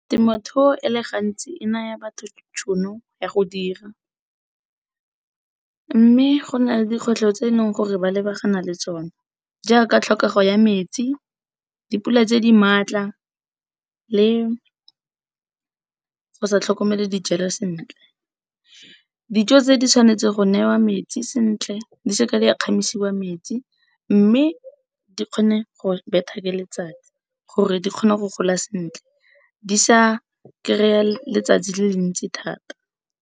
Temothuo e le gantsi e naya batho tšhono ya go dira, mme go na le dikgwetlho tse e leng gore ba lebagana le tsona, jaaka tlhokego ya metsi dipula tse di maatla le go sa tlhokomele dijalo sentle. Dijo tse di tshwanetse go newa metsi sentle di seke di a kgamisiwa metsi, mme di kgone go betha ke letsatsi gore di kgone go goala sentle, di sa kry-a le le ntsi thata.